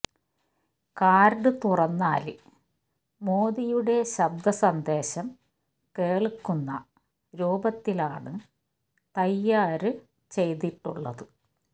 card തുറന്നാല് മോദിയുടെ ശബ്ദ സന്ദേശം കേള്ക്കുന്ന രൂപത്തിലാണ് തയ്യാര് ചെയ്തിട്ടുള്ളത്